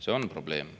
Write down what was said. See on probleem.